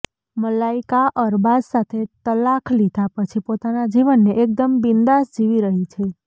મલાઈકા અરબાઝ સાથે તલાખ લીધા પછી પોતાના જીવનને એકદમ બિંદાસ જીવી રહી છે